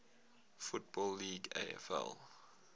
football league afl